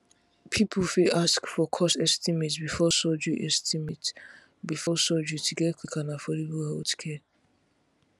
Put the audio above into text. people fit ask for cost estimate before surgery estimate before surgery to get quick and affordable healthcare